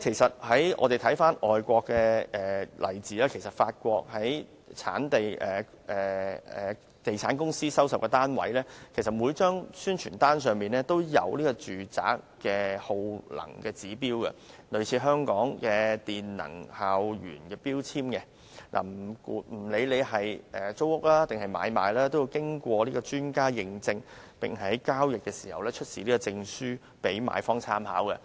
看看外國的例子，法國的地產公司所代理的單位，在每張宣傳單上都印有有關單位的耗能指標，類似香港的能源標籤，耗能指標經過專家驗證，在交易時出示此證書讓買方參考。